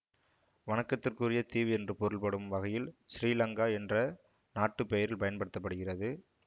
வணக்கத்துக்குரிய தீவு என்று பொருள்படும் வகையில் ஸ்ரீ லங்கா என்ற நாட்டுப் பெயரில் பயன்படுத்த படுகிறது